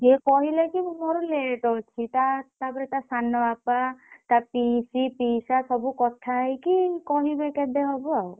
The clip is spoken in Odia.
ସିଏ କହିଲେ କି ମୋର late ଅଛି ତା ତାପରେ ତା ସାନବାପା ତା ପିଇସି ପିଇସା ସବୁ କଥା ହେଇକି କହିବେ କେବେ ହବ ଆଉ।